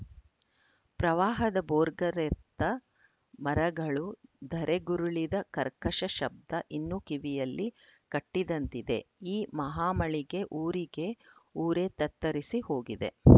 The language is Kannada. ಪ್ರವಾಹದ ಭೋರ್ಗರೆತ ಮರಗಳು ಧರೆಗುರುಳಿದ ಕರ್ಕಶ ಶಬ್ದ ಇನ್ನೂ ಕಿವಿಯಲ್ಲಿ ಕಟ್ಟಿದಂತಿದೆ ಈ ಮಹಾಮಳೆಗೆ ಊರಿಗೆ ಊರೇ ತತ್ತರಿಸಿ ಹೋಗಿದೆ